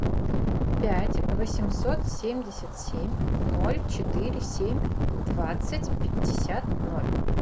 пять восемьсот семьдесят семь ноль четыре семь двадцать пятьдесят ноль